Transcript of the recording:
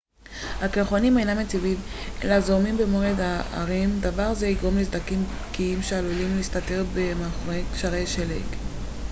הקרחונים אינם יציבים אלא זורמים במורד ההרים דבר זה יגרום לסדקים בקיעים שעלולים להסתתר מאחורי גשרי שלג